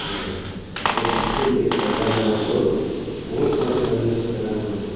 और पीछे में एक पर्दा लगा और बहुत सारे फर्नीचर्स लगा हुआ है।